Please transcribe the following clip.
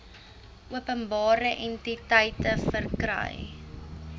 openbare entiteite verkry